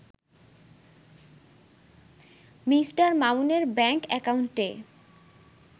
Me. মামুনের bank অ্যাকাউন্টে